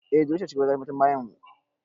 Eh delu ce shugabar ƴan matan ƙauyenmu